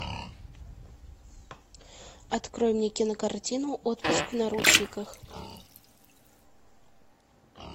открой мне кинокартину отпуск в наручниках